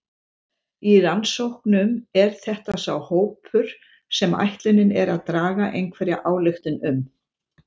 Í rannsóknum er þetta sá hópur sem ætlunin er að draga einhverja ályktun um.